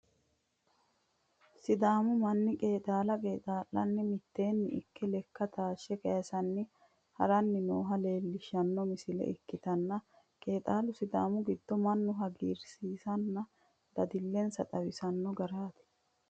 sidaamu manni qeexaala qeexaa'lanni mitteenni ikke lekka taashshe kaysanni haranni nooha leelishshanno misile ikkitanna, qeexaalu sidaamu gido mannu hagiirensanna dadillensa xawisanno garati.